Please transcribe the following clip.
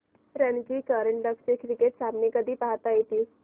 रणजी करंडक चे क्रिकेट सामने कधी पाहता येतील